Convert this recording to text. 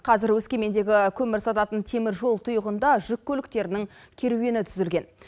қазір өскемендегі көмір сататын теміржол тұйығында жүк көліктерінің керуені түзілген